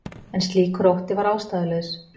En slíkur ótti var ástæðulaus.